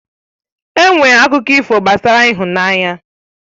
Enwere akụkọ ifo gbasara ịhụnanya